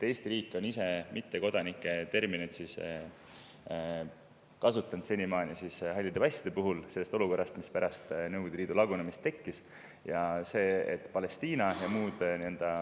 Eesti riik on ise mittekodanike terminit kasutanud senimaani halli passiga puhul, sellest olukorrast, mis tekkis pärast Nõukogude Liidu lagunemist.